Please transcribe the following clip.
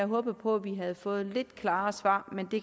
håbet på vi havde fået lidt klarere svar men det